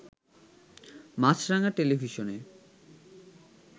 মাছরাঙা টেলিভিশনে